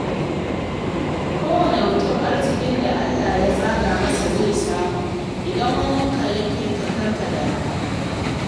Kowane mutum arzikin da Allah ya tsaga masa zai samu, idan waninka ya fika kar ka damu.